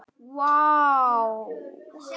Vá